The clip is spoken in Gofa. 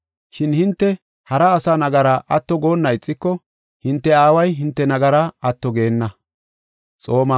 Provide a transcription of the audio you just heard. Shin hinte hara asa nagara atto goonna ixiko hinte Aaway hinte nagara atto geenna.